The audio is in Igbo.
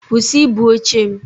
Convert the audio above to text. Kwụsị ibu oche m!